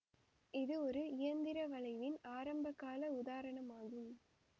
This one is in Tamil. இது ஒரு இயந்திர வளைவின் ஆரம்ப கால உதாரணமாகும்